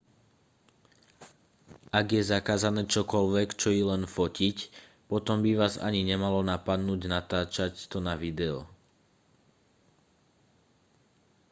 ak je zakázané čokoľvek čo i len fotiť potom by vás ani nemalo napadnúť natáčať to na video